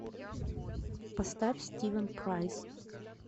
поставь стивен прайс